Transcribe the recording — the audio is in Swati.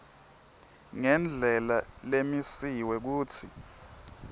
ngendlela lemisiwe kutsi